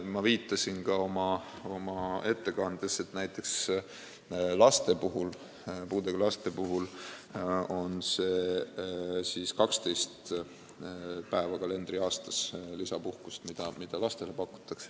Ma viitasin ka oma ettekandes, et näiteks puudega laste puhul pakutakse kalendriaastas 12 päeva lisapuhkust.